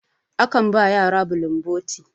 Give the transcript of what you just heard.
akan ba yara bulun boti